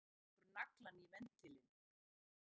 Hann hlær og rekur naglann í ventilinn.